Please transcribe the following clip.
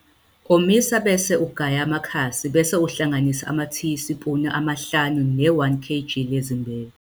Omisa bese ugaya amakhasi bese uhlanganisa amatiyispuni amahlanu ne-1 kg lezimbewu.